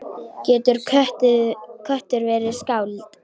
Getur köttur verið skáld?